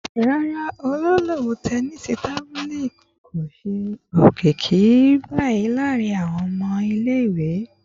Rara, lọwọlọwọ, tẹnisi tabili ko ṣe olokiki bii laarin awọn ọmọ ile-iwe